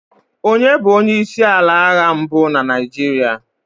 onye bu onye isi ala agha mbu na Naijiria?